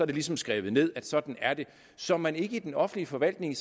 det ligesom skrevet ned at sådan er det så man ikke i den offentlige forvaltning